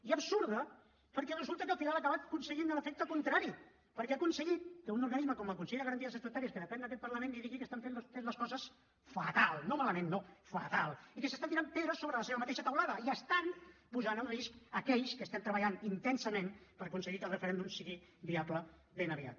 i absurda perquè resulta que al final ha acabat aconseguint l’efecte contrari perquè ha aconseguit que un organisme com el consell de garanties estatutàries que depèn d’aquest parlament els digui que estan fent vostès les coses fatal no malament no pedres sobre la seva mateixa teulada i estan posant en risc aquells que estem treballant intensament per aconseguir que el referèndum sigui viable ben aviat